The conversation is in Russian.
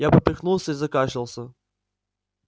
я поперхнулся и закашлялся